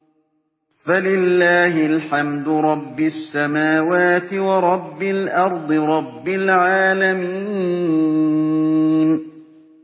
فَلِلَّهِ الْحَمْدُ رَبِّ السَّمَاوَاتِ وَرَبِّ الْأَرْضِ رَبِّ الْعَالَمِينَ